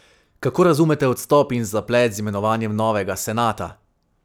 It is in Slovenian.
Kako razumete odstop in zaplet z imenovanjem novega senata?